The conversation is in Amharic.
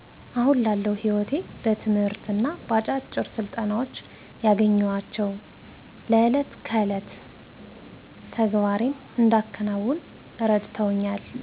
አሁን ላለው ሕይወቴ በትምህርትና በአጫጭር ስልጠና ያገኘኋቸው ለዕለት ከዕለት ተግባሬን እንዳከናውን እረድተውኛል